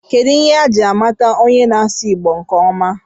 Kedụ ihe eji a mata onye na-asụ Igbo nkeọma?